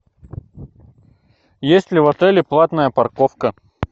есть ли в отеле платная парковка